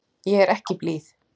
Ég er ekki blíð.